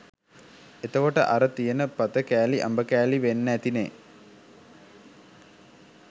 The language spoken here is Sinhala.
එතකොට අර තියෙන පත කෑලි අඹ කෑලි වෙන්නැති නේ